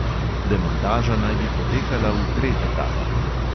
Demontaža naj bi potekala v treh etapah.